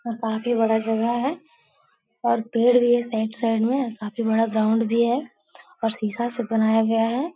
और काफी बड़ा जगह है और पेड़ भी है साइड -साइड में और काफी बड़ा ग्राउंड भी है और शीशा से बनाया गया है।